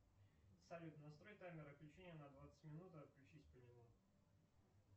салют настрой таймер отключения на двадцать минут и отключись по нему